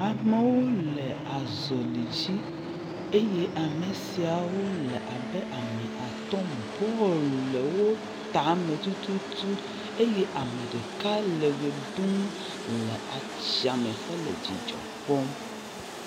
Amewo le azɔli dzi eye ame siawo le abe at, bɔl le wo ta me tututu eye ame ɖeka le wɔ ɖum le ats]a me hele dzidzɔ kpɔm.